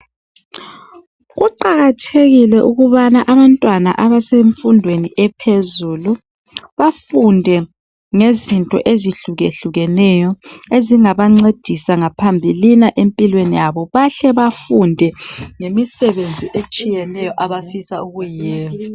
Kuqakathekile ukubana abantwana abasemfundweni ephezulu bafunde ngezinto ezihlukehlukeneyo ezingabancedisa phambilini empilweni yabo bahle bafunde lemisebenzi etshiyeneyo abafisa ukuyenza.